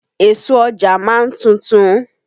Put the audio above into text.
Èso Ọjà ma ń tuntun.